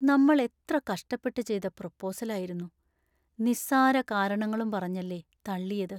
നമ്മൾ എത്ര കഷ്ടപ്പെട്ട് ചെയ്ത പ്രൊപ്പോസൽ ആയിരുന്നു; നിസ്സാര കാരണങ്ങളും പറഞ്ഞല്ലേ തള്ളിയത്.